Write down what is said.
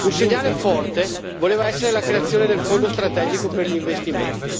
Un segnale forte voleva essere la creazione del Fondo strategico per gli investimenti